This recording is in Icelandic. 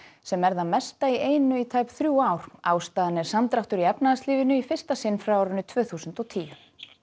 sem er það mesta í einu í tæp þrjú ár ástæðan er samdráttur í efnahagslífinu í fyrsta sinn frá tvö þúsund og tíu